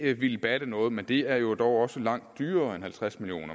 ville batte noget men det er jo dog også langt dyrere end halvtreds million